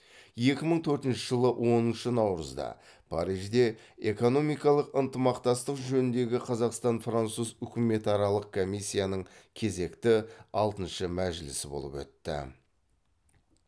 екі мың төртінші жылы оныншы наурызда парижде экономикалық ынтымақтастық жөніндегі қазақстан француз үкіметаралық комиссияның кезекті алтыншы мәжілісі болып өтті